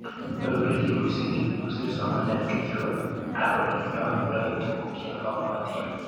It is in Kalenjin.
Nyoru kelchin mising' tipik kosir somanet kityo ak ole nyondunoi tuguk che magatin